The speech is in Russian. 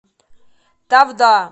тавда